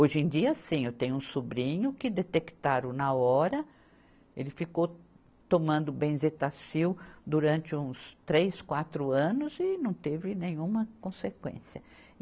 Hoje em dia sim, eu tenho um sobrinho que detectaram na hora, ele ficou tomando benzetacil durante uns três, quatro anos e não teve nenhuma consequência.